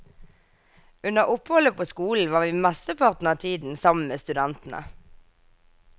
Under oppholdet på skolen var vi mesteparten av tiden sammen med studentene.